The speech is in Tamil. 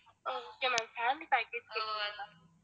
um okay ma'am family package